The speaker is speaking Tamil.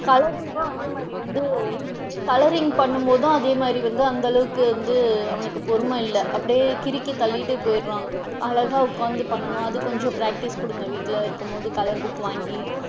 Colouring கும் அதே மாதிரி வந்து, colouring பண்ணும்போது அதே மாதிரி வந்து அந்த அளவுக்கு வந்து அவனுக்கு பொறுமை இல்ல அப்படியே அவன் கிறுக்கி தள்ளிட்டு போயிடுறான், அழகா உட்காந்து பண்ணனும் அது கொஞ்சம் practice குடுங்க வீட்ல இருக்கும் போது colour book வாங்கி,